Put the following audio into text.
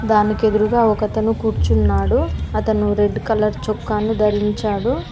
దానికి ఎదురూగా ఒక అతను కూర్చున్నాడు అతను రెడ్డు కలర్ చొక్కాను ధరించాడు.